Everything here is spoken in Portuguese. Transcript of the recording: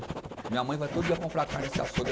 Minha mãe vai todo dia comprar carne nesse açougue